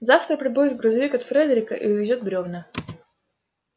завтра прибудет грузовик от фредерика и увезёт бревна